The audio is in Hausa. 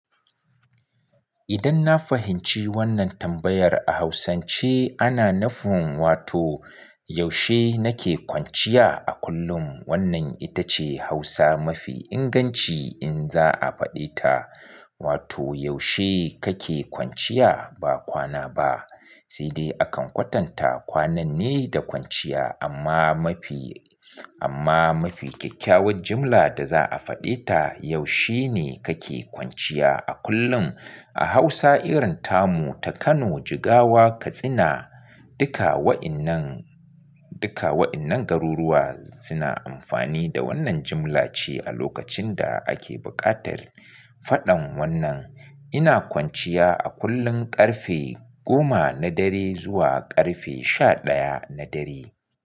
Idan na fahimci wannan tambayar a Hausance ana nufin wato yaushe nake kwanciya a kullum. Wannan ita ce Hausa mafi inganci in za a faɗe ta. Wato yaushe kake kwanciya ba kwana ba. Saidai akan kwatanta kwanan ne da kwanciya amma mafi, amma mafi kyakkyawar jimla da za a faɗe ta, yaushe ne kake kwanciya a kullum. A Hausa irin tamu ta Kano, Jigawa, Katsina, duka wa'innan, duka wa'innan garuruwa suna amfani da wannan jimla ce a lokacin da ake buƙatar faɗan wannan. Ina kwanciya a kullum ƙarfe goma na dare zuwa ƙarfe sha ɗaya na dare.